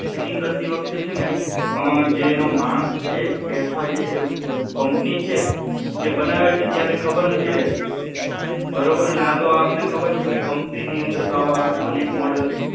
Fitting કરતી વખતે છે ને અં. જે એનો માણસ છે કે અથવા જે કમ્પની છે તે બનાવે છે ત્યારે ખબર નથી રહેતી બરોબર અને આતો આ તમને ખબર છે કમ્પનીમાં આવા અનેક મોડેલ